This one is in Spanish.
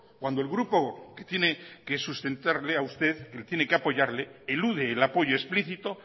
cuando el grupo que tiene que sustentarle a usted le tiene que apoyarle elude el apoyo explicito